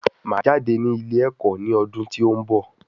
Máà jáde ní ilé ẹ̀kọ́ ní ọdún tí òún bọ̀